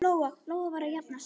Lóa-Lóa var að jafna sig.